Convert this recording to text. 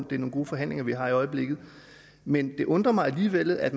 det er nogle gode forhandlinger vi har i øjeblikket men det undrer mig alligevel at